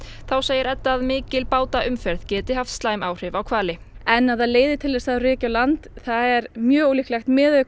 þá segir Edda að mikil geti haft slæm áhrif á hvali en að það leiði til þess að þeir reki á land er mjög ólíklegt miðað við